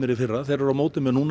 í fyrra en móti manni núna